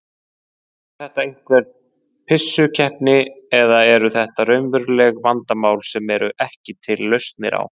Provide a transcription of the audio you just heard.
Er þetta einhver pissukeppni eða eru þetta raunveruleg vandamál sem eru ekki til lausnir á?